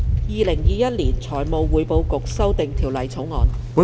《2021年財務匯報局條例草案》。